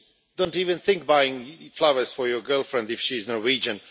Do not even think of buying flowers for your girlfriend if she is Norwegian.